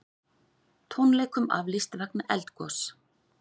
Tónleikum aflýst vegna eldgoss